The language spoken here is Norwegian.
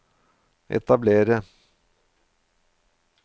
etablere